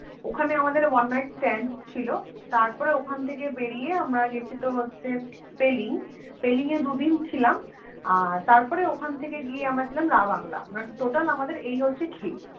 ওখানে আমাদের One night stand ছিলো তারপর ওখান থেকে বেরিয়ে আমরা গেছি তোর হচ্ছে পেলিং পেলিংয়ে দুদিন ছিলাম আর তারপর ওখান থেকে গিয়ে আমরা ছিলাম রাবাংলা Total আমাদের এই হচ্ছে trip